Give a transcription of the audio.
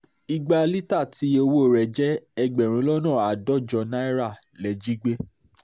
ìgbà lítà tí iye owó rẹ̀ jẹ́ ẹgbẹ̀rún lọ́nà àádọ́jọ náírà lè jí gbé